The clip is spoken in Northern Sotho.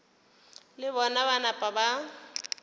le bona ba napa ba